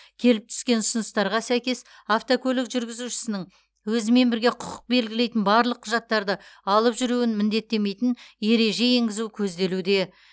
келіп түскен ұсыныстарға сәйкес автокөлік жүргізушісінің өзімен бірге құқық белгілейтін барлық құжаттарды алып жүруін міндеттемейтін ереже енгізу көзделуде